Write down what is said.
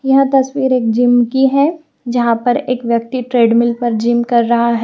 यह तस्वीर एक जिम की है जहां पर एक व्यक्ति ट्रेडमिल पर जिम कर रहा है।